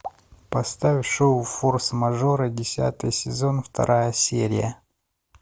поставь шоу форс мажоры десятый сезон вторая серия